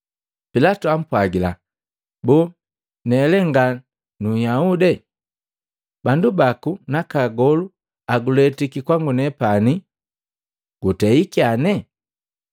Pilatu jaapwagila, “Boo, ne lee nga nu Nhyahude? Bandu baku naka agolu aguletiki kwa minepani. Gutei kyane?”